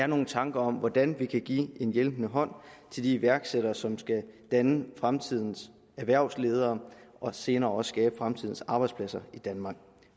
nogle tanker om hvordan vi kan give en hjælpende hånd til de iværksættere som skal danne fremtidens erhvervsledere og senere også skabe fremtidens arbejdspladser i danmark